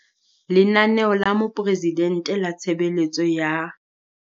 Lenaneo la moporesidente la tshebeletso ya.